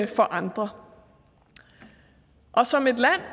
for andre